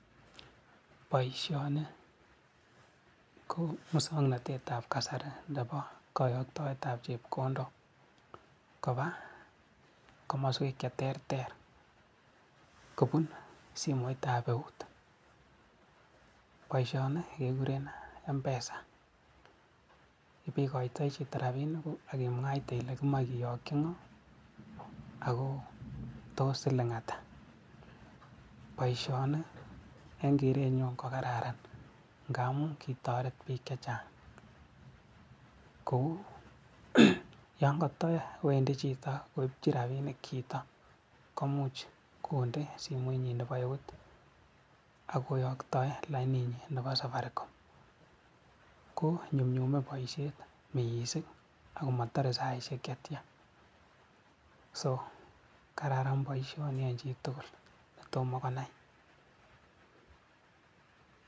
Boisoni ko muswoknatetab kasari nebo kayaktoetab chepkondok koba komaswek cheterter kobun simetab eut. Boisioni kekure mpesa, ikoitoi ra[inikuk ak kimwaite ile imche kiyokii ako tos siling atak. Boisioni eng kereenyun ko kararan ngamun kikotoret biik chechang. Kou yan katawendi chito koipchin rapinik chito komuch kondee simoinyin nebo eut ako yoktoen laininyin nebo safaricom, konyumnyumei boisiet mising ako matare saishek chetya, so kararan boisioni eng chitugul ne tomo konai.